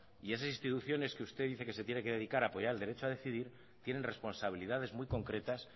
y esas instituciones que usted dice que se tiene que dedicar el derecho a decidir tienen responsabilidades muy concretas